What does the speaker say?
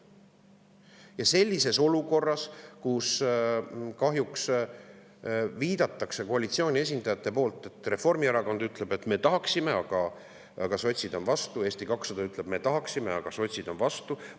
olukord, kus koalitsiooni kuuluv Reformierakond ütleb, et me tahaksime, aga kahjuks sotsid on vastu, ja Eesti 200 ütleb, et me tahaksime, aga sotsid on vastu.